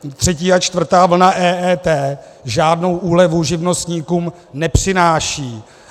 Třetí a čtvrtá vlna EET žádnou úlevu živnostníkům nepřináší.